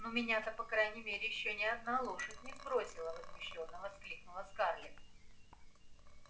ну меня-то по крайней мере ещё ни одна лошадь не сбросила возмущённо воскликнула скарлетт